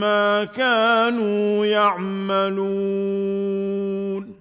مَّا كَانُوا يَعْمَلُونَ